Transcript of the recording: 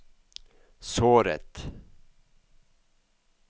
såret